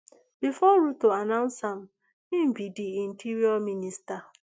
before ruto announce am e be di interior minister